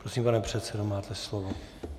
Prosím, pane předsedo, máte slovo.